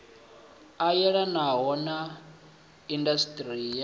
a yelanaho na indasiṱiri ya